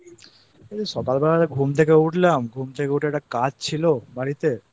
এই সকালবেলাটা ঘুম থেকে উঠলাম ঘুম থেকে উঠে একটা কাজ ছিল বাড়িতে